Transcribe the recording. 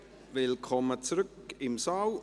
Willkommen zurück im Saal.